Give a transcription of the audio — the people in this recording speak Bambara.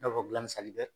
I n'a fɔ gilasi bɛ